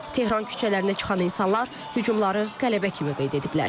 Tehran küçələrinə çıxan insanlar hüجومları qələbə kimi qeyd ediblər.